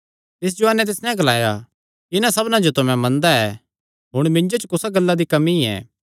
तिस जुआनें तिस नैं ग्लाया इन्हां सबना जो तां मैं मनदा ऐ हुण मिन्जो च कुसा गल्ला दी कमी ऐ